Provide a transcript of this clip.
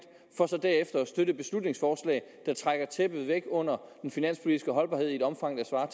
for så derefter at støtte et beslutningsforslag der trækker tæppet væk under den finanspolitiske holdbarhed i et omfang der svarer